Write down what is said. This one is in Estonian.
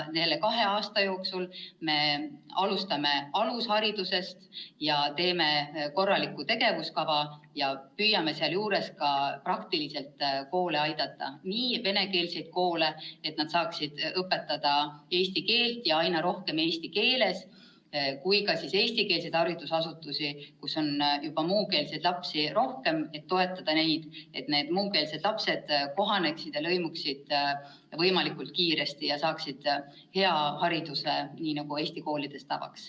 Kahe aasta jooksul me alustame alusharidusest ja teeme korraliku tegevuskava ning püüame sealjuures ka praktiliselt koole aidata – nii venekeelseid koole, et nad saaksid õpetada eesti keelt ja aina rohkem eesti keeles, kui ka eestikeelseid haridusasutusi, kus on muukeelseid lapsi juba rohkem, toetada neid, et muukeelsed lapsed kohaneksid, lõimuksid võimalikult kiiresti ja saaksid hea hariduse, nii nagu Eesti koolides tavaks.